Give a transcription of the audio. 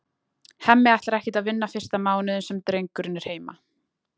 Hemmi ætlar ekkert að vinna fyrsta mánuðinn sem drengurinn er heima.